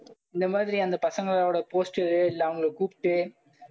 இந்த மாதிரி அந்த பசங்களோட poster இல்லை அவங்களை கூப்பிட்டு